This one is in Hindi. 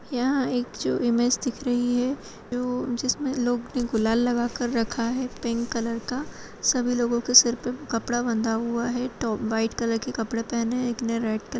यहाँ एक जो इमेज दिख रही हैं जो जिसमे लोग जो गुलाल लगा के रखा हैं पिंक कलर का साभी लोगों के सिर पे कपड़ा बंधा हुआ हैं तो व्हाइट कलर के कपड़े पहने हैं एक ने रेड कलर --